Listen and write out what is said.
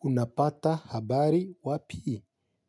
Unapata habari wapii?